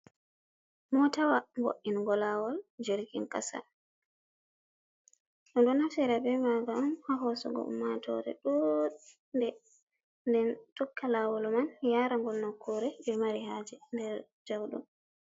Motawa vo'ingo lawol jirgin kasa, bedo naftira be magam ha hosugo ummatore dude, den tokka lawol man yara gol nokkure be mari haje nder jaudom.